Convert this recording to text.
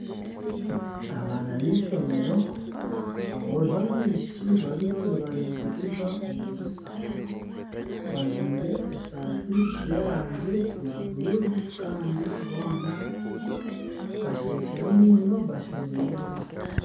Abaana b'eishomero aboojo n'abaishiki bariyo nibariguriza omu diriisa bajwaire esaati z'erangi ya buruuru kandi boona basinikire amaino bashemerirwe.